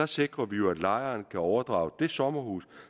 sikrer vi jo at lejeren kan overdrage det sommerhus